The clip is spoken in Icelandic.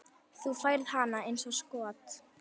Þú færð hana eins og skot.